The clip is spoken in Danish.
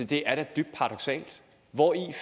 det er da dybt paradoksalt hvori